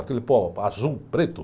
Aquele pó azul, preto.